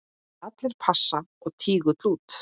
Allir pass og tígull út!